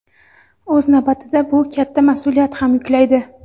O‘z navbatida bu katta mas’uliyat ham yuklaydi.